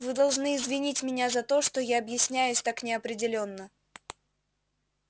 вы должны извинить меня за то что я объясняюсь так неопределённо